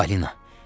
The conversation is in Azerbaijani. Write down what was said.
Balina!